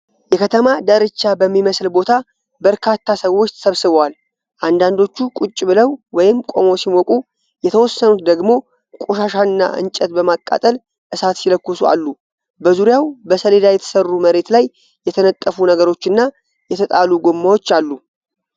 የከተማ ዳርቻ በሚመስል ቦታ በርካታ ሰዎች ተሰብስበዋል። አንዳንዶቹ ቁጭ ብለው ወይም ቆመው ሲሞቁ፣ የተወሰኑት ደግሞ ቆሻሻና እንጨት በማቃጠል እሳት ሲለኩሱ አሉ። በዙሪያው በሰሌዳ የተሰሩ መሬት ላይ የተነጠፉ ነገሮችና የተጣሉ ጎማዎች አሉ።